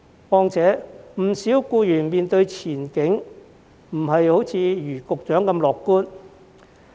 況且，不少僱員對前景並不如局長般樂觀。